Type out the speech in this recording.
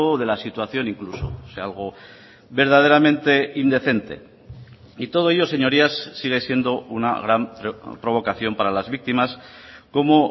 de la situación incluso o sea algo verdaderamente indecente y todo ello señorías sigue siendo una gran provocación para las víctimas como